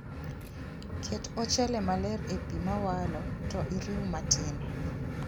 Ket ochele maler e pii mawalo to iriw matin